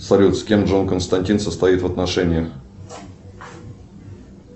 салют с кем джон константин состоит в отношениях